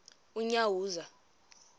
unyawuza